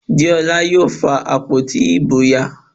Deola yóò fa àpótí ìbò ya